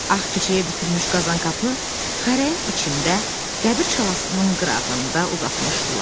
Ağ kişiyə bükülmüş Qazanqapı xərəyin içində, qəbir çalasının qırağında uzatmışdılar.